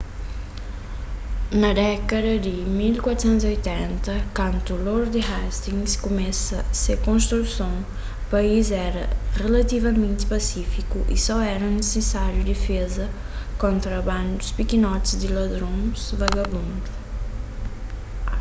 na dékada di 1480 kantu lord hastings kumesa se konstruson país éra rilativamenti pasífiku y só éra nisisáriu difeza kontra bandus pikinoti di ladrons vagabundu